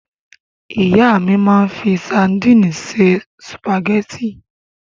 Ìyá mi máa ń fi sadíìnì se sùpàgẹ́tì.